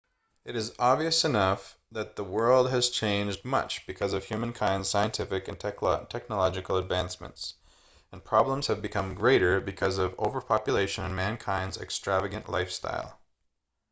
it is obvious enough that the world has changed much because of humankind's scientific and technological advancements and problems have become greater because of overpopulation and mankind's extravagant lifestyle